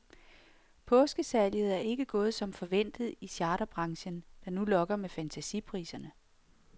Påskesalget er ikke gået som forventet i charterbranchen, der nu lokker med fantasipriser.